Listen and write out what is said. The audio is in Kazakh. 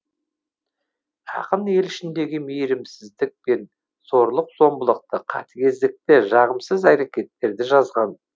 ақын ел ішіндегі мейірімсіздік пен зорлық зомбылықты қатыгездікті жағымсыз әрекеттерді жазған